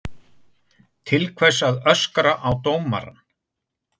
Til hvers að öskra á dómarann?